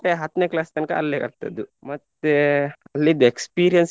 ಮತ್ತೆ ಹತ್ನೆ class ತನ್ಕ ಅಲ್ಲೆ ಕಲ್ತದ್ದು ಮತ್ತೇ ಅಲ್ಲಿದ್ದು experience .